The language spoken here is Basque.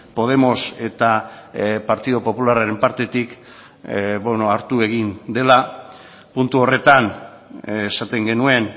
podemos eta partidu popularraren partetik hartu egin dela puntu horretan esaten genuen